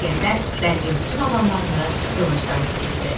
İsgəndər Bəlqin bütün adamlarını qılıncdan keçirdi.